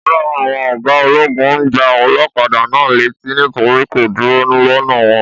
Ọ̀kan lára àwọn ọ̀gá ológun gbà olókadà náà létí nítorí kò kúrò lọnà wọn